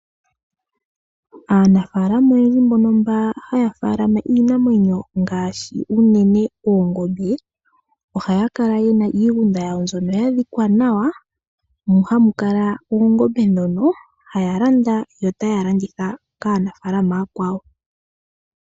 Aanafaalama oyendji mbono mba haya faalama iinamwenyo ngaashi unene oongombe oha ya kala yena iigunda yawo mbyono ya dhikwa nawa. Mu hamu kala oongombe ndhono haya landa yo otaya landitha kaanafaalama ooyakwawo.